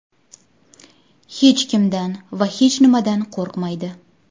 Hech kimdan va hech nimadan qo‘rqmaydi.